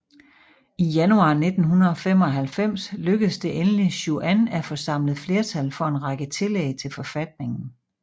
I januar 1995 lykkes det endelig Chuan at få samlet flertal for en række tillæg til forfatningen